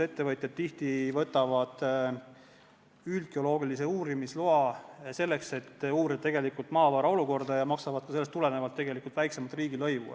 Ettevõtjad võtavad tihti üldgeoloogilise uurimistöö loa, selleks et uurida tegelikult maavarade olukorda, ja maksavad sellest tulenevalt väiksemat riigilõivu.